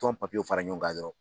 Tɔn papiyew fara ɲɔgɔn kan dɔrɔn